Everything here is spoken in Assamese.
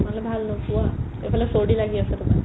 ইফালে ভাল নোপোৱা ইফালে চৰ্দি লাগি আছে তোমাৰ